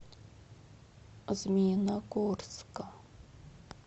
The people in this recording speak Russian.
змеиногорска